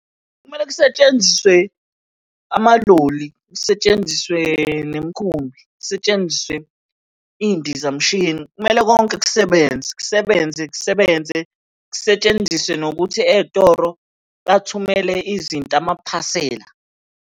Kumele kusetshenziswe amaloli, kusetshenziswe nemikhumbi, kusetshenziswe iy'ndizamshini. Kumele konke kusebenze kusebenze kusebenze, kusetshenziswe nokuthi ey'toro bathumele izinto amaphasela.